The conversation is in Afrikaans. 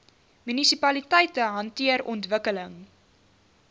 munisipaliteite hanteer ontwikkeling